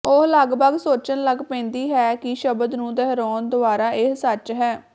ਉਹ ਲਗਭਗ ਸੋਚਣ ਲੱਗ ਪੈਂਦੀ ਹੈ ਕਿ ਸ਼ਬਦ ਨੂੰ ਦੁਹਰਾਉਣ ਦੁਆਰਾ ਇਹ ਸੱਚ ਹੈ